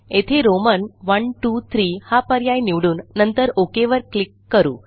येथे रोमन iiiआयआय हा पर्याय निवडून नंतर OKवर क्लिक करू